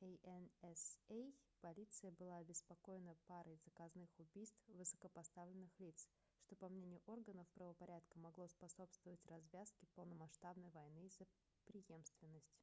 ansa полиция была обеспокоена парой заказных убийств высокопоставленных лиц что по мнению органов правопорядка могло способствовать развязке полномасштабной войны за преемственность